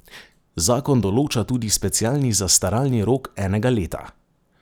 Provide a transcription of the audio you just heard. Zakon določa tudi specialni zastaralni rok enega leta.